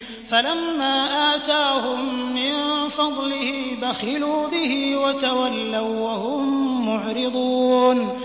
فَلَمَّا آتَاهُم مِّن فَضْلِهِ بَخِلُوا بِهِ وَتَوَلَّوا وَّهُم مُّعْرِضُونَ